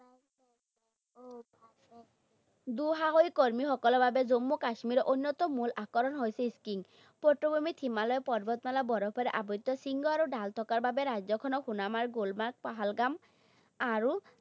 দুঃসাহসিক কৰ্মীসকলৰ বাবে জম্মু কাশ্মীৰৰ অন্যতম মূল আকৰ্ষণ হৈছে skiing । হিমালয় পৰ্বতমালা বৰফেৰে আবৃত শৃংগ আৰু ঢাল থকাৰ বাবে ৰাজ্যখনত সোনামাৰ্গ, গুলমাৰ্গ, পাহালগাম, আৰু